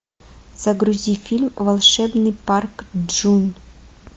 загрузи фильм волшебный парк джун